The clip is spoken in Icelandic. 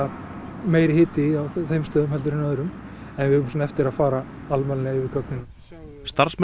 meiri hiti á þeim stöðum heldur en öðrum en við eigum eftir að fara alvarlega yfir gögnin starfsmenn